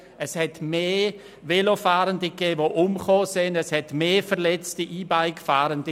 Es gab mehr Velofahrende, die umgekommen sind, und es gab mehr verletzte E-Bike-Fahrende.